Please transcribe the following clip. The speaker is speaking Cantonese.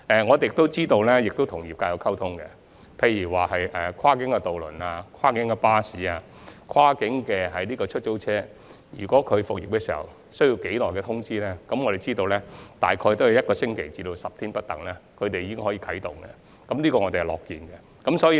我們亦有與業界溝通，例如就跨境渡輪、跨境巴士及跨境出租車復業前所需的通知期，我們得知有關營辦商只需大約一星期至10天的通知期便可重新啟動，這是我們樂見的。